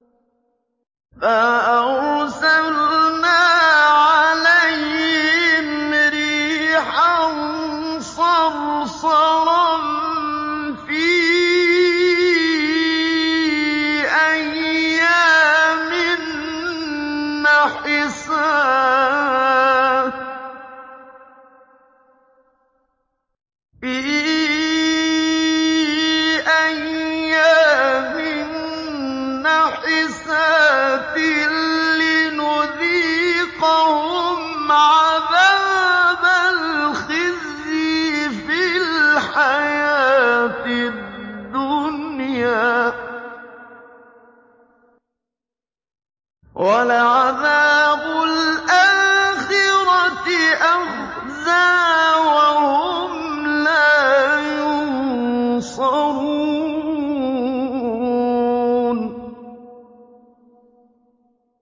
فَأَرْسَلْنَا عَلَيْهِمْ رِيحًا صَرْصَرًا فِي أَيَّامٍ نَّحِسَاتٍ لِّنُذِيقَهُمْ عَذَابَ الْخِزْيِ فِي الْحَيَاةِ الدُّنْيَا ۖ وَلَعَذَابُ الْآخِرَةِ أَخْزَىٰ ۖ وَهُمْ لَا يُنصَرُونَ